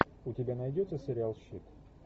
у тебя найдется сериал щит